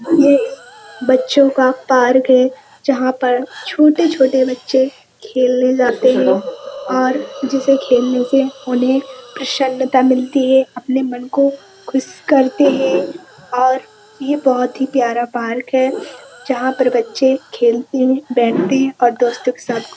मुझे एक बच्चों का पार्क है। जहाँ पर छोटे-छोटे बच्चे खेलने जाते हैं और जिसे खेलने से उन्हें प्रसन्नता मिलती है। अपने मन को खुश करते हैं और ये बोहोत ही प्यारा पार्क है। जहाँ पर बच्चे खेलते हैं बैठते हैं और दोस्तों के साथ --